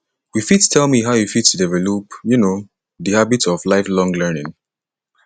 you fit tell me how you fit develop um di habit of lifelong learning